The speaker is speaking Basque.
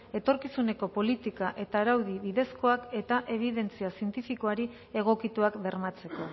etorkizuneko politika eta araudi bidezkoak eta ebidentzia zientifikoari egokituak bermatzeko